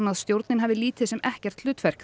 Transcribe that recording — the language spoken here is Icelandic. að stjórnin hafi lítið sem ekkert hlutverk